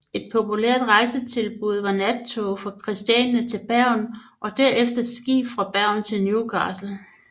Et populært rejsetilbud var nattog fra Kristiania til Bergen og derefter skib fra Bergen til Newcastle